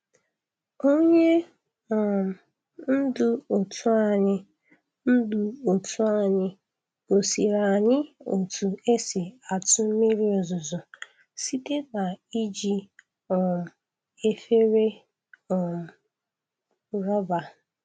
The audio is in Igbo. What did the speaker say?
Onye um ndu otu anyị ndu otu anyị gosiri anyị otu esi atụ mmiri ozuzo site na iji um efere um rọba.